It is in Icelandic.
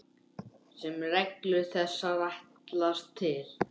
sem reglur þessar ætlast til.